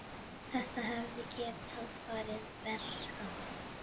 Þetta hefði getað farið verr.